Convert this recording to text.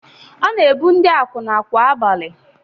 Ọ na-ebu ndị akwụna kwa abalị.